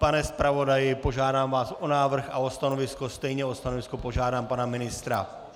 Pane zpravodaji, požádám vás o návrh a o stanovisko, stejně o stanovisko požádám pana ministra.